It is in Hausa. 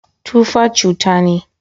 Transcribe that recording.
Tufa cuta ne.